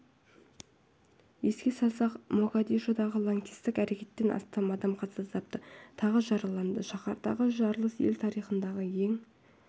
еске салсақ могадишодағы лаңкестік әрекеттен астам адам қаза тапты тағы жараланды шаһардағы жарылыс ел тарихындағы ең